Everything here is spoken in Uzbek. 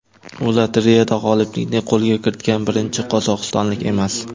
U lotereyada g‘oliblikni qo‘lga kiritgan birinchi qozog‘istonlik emas.